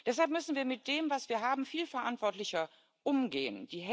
Deshalb müssen wir mit dem, was wir haben, viel verantwortlicher umgehen.